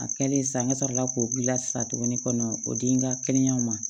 A kɛlen sa ne sɔrɔ la k'o gilan sisan tuguni o di n ka kɛnɛyaw ma